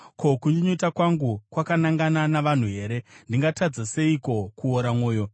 “Ko, kunyunyuta kwangu kwakanangana nomunhu here? Ndingatadza seiko kuora mwoyo?